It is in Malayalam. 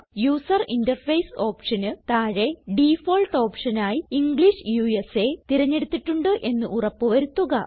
യൂസർ ഇന്റർഫേസ് ഓപ്ഷന് താഴെ ഡിഫാൾട്ട് ഓപ്ഷൻ ആയി ഇംഗ്ലിഷ് ഉസ തിരഞ്ഞെടുത്തിട്ടുണ്ട് എന്ന് ഉറപ്പ് വരുത്തുക